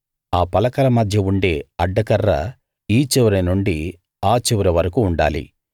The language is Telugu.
ఆ పలకల మధ్య ఉండే అడ్డ కర్ర ఈ చివరి నుండి ఆ చివరి వరకూ ఉండాలి